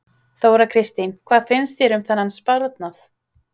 Þóra Kristín: Hvað finnst þér um þennan sparnað?